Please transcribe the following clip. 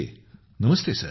गौरव नमस्ते सर